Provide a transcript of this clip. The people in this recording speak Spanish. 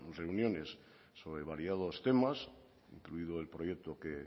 reuniones sobre variados temas incluido el proyecto que